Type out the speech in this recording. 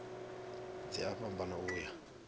dzi a fhambana u ya